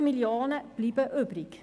55 Mio. Franken bleiben übrig.